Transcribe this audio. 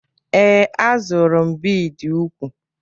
Ee, a zụrụ m bidi úkwù.